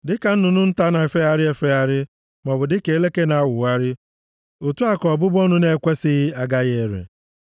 Dịka nnụnụ nta na-efegharị efegharị, maọbụ dịka eleke na-awụgharị otu a ka ọbụbụ ọnụ na-ekwesighị agaghị ere.